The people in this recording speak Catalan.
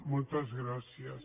moltes gràcies